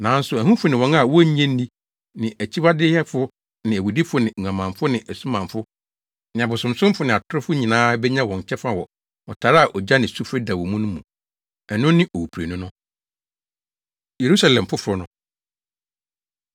Nanso ahufo ne wɔn a wonnye nni ne akyiwadeyɛfo ne awudifo ne nguamanfo ne asumanfo ne abosonsomfo ne atorofo nyinaa benya wɔn kyɛfa wɔ ɔtare a ogya ne sufre dɛw wɔ mu no mu. Ɛno ne owuprenu no.” Yerusalem Foforo No